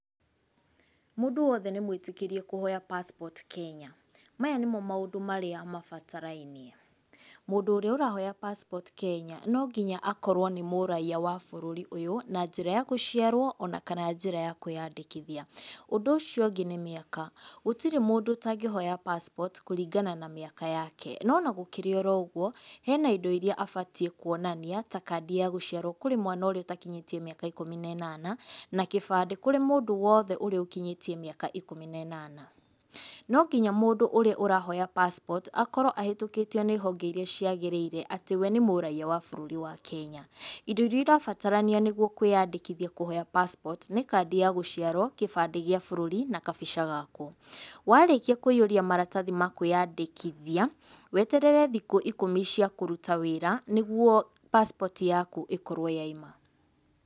Mũndũ wothe nĩ mwĩtĩkĩrie kũhoya pacipoti Kenya. Maya nĩmo maũndũ marĩa mabatarainie, mũndũ ũrĩa ũrahoya pacipoti Kenya, nonginya akorwo nĩ mũraiya wa bũrũri ũyũ na njĩra ya kũciarwo ona kana njĩra ya kwĩyandĩkithia. Ũndũ ũciongĩ nĩ mĩaka. Gũtirĩ mũndũ ũtangĩhoya pacipoti kũringana na mĩaka yake, no ona gũkĩrĩ oro ũguo hena indo iria abatiĩ kwonania ta kandi ya gũciarwo kũrĩ mwana ũrĩa ũtakinyĩtie mĩaka ikũmi ne nana, na kĩbandi kũrĩ mũndũ wothe ũrĩa ũkinyĩtie mĩaka ikũmi ne nana. Nonginya mũndũ ũrĩa ũrahoya pacipoti akorwo ahĩtũkĩtio nĩ honge iria ciagĩrĩire atĩ wee nĩ mũraiya wa bũrũri wa Kenya. Indo iria ũrabatarania nĩguo kwĩyandĩkithia kũhoya pacipoti, nĩ kandi ya gũciarwo, kĩbandĩ gĩa bũrũri na kabica gaku. Warĩkia kũiyũria maratathi ma kwĩyandĩkithia, weterere thiku ikũmi cia kũruta wĩra nĩguo pacipoti yaku ĩkorwo yauma.